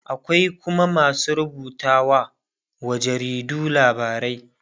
akwai Kuma masu rubutawa wa jaridu labarai.